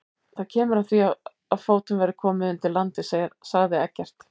Það kemur að því að fótum verður komið undir landið, sagði Eggert.